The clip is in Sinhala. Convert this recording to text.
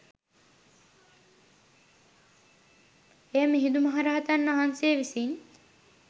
එය මිහිඳු මහරහතන් වහන්සේ විසින්